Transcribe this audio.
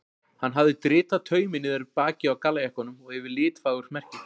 Hann hafði dritað taumi niður bakið á gallajakkanum og yfir litfagurt merkið.